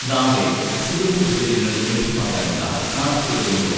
നാളെ സുഗന്ധദ്രവ്യങ്ങൾ ലഭ്യമാകാനുള്ള സാധ്യതകളുണ്ടോ?